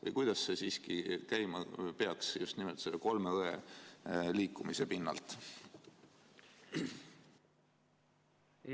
Või kuidas see siiski käima peaks, just nimelt selle "kolme õe" liikumise pinnalt?